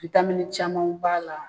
camanw b'a la.